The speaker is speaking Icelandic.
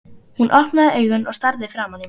Hún opnaði augun og starði framan í mig.